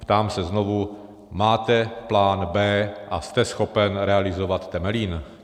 Ptám se znovu: Máte plán b) a jste schopen realizovat Temelín?